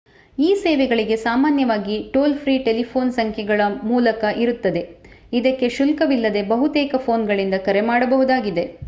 ಈ ಸೇವೆಗಳಿಗೆ ಸಾಮಾನ್ಯವಾಗಿ ಟೋಲ್‌ ಫ್ರೀ ಟೆಲಿಫೋನ್‌ ಸಂಖ್ಯೆಗಳು ಮೂಲಕ ಇರುತ್ತದೆ. ಇದಕ್ಕೆ ಶುಲ್ಕವಿಲ್ಲದೇ ಬಹುತೇಕ ಫೋನ್‌ಗಳಿಂದ ಕರೆ ಮಾಡಬಹುದಾಗಿದೆ